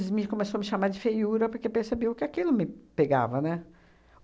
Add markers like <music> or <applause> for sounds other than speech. <unintelligible> começou a me chamar de feiura porque percebeu que aquilo me pegava, né?